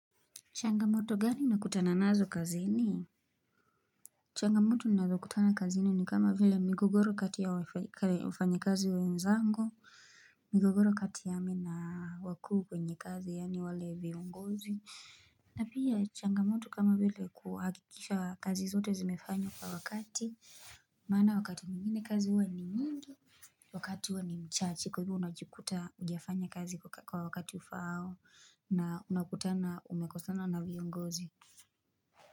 Changamoto gani nakutana nazo kazini? Changamoto nazo kutana kazini ni kama vile migogoro kati ya wafanyakazi wenzangu, migogoro kati yami na wakuu kwenye kazi yani wale viongozi. Na pia Changamoto kama vile kuhakikisha kazi zote zimefanywa kwa wakati. Maana wakati mwingine kazi huwa ni mingi. Wakati huwa ni mchache kwa hivo unajikuta hujafanya kazi kwa wakati ufao na unakutana umekosana na viongozi.